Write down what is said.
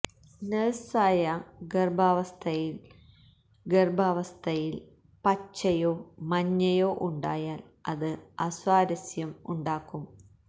നഴ്സായ ഗർഭാവസ്ഥയിൽ ഗർഭാവസ്ഥയിൽ പച്ചയോ മഞ്ഞയോ ഉണ്ടായാൽ അത് അസ്വാരസ്യം ഉണ്ടാക്കും